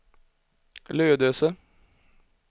Lödöse